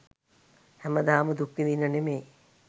හැමදාම දුක් විදින්න නෙමේ